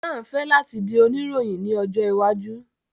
Hassan fẹ lati di onirohin ni ojo iwaju